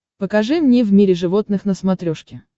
покажи мне в мире животных на смотрешке